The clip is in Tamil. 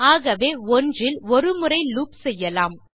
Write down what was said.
ஆகவே 1 இல் ஒரு முறை லூப் செய்யலாம்